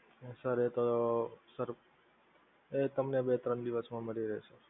sir એ તો sir એ તમને બે ત્રણ દિવસમાં મળી રહે.